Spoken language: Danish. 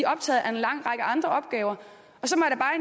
optaget af en lang række andre opgaver